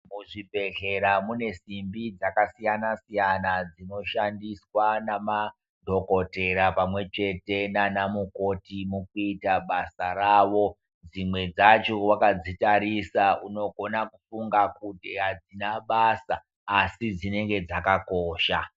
Muzvibhedhlera mune simbi dzakasiyana siyana dzinoshandiswa namadhokodheya pamwe chete nana mukoti mukuita basa rawo dzimwe dzacho wakadzitarisa unokona kufunga kuti adzina basa asi dzinenge dzakakosha.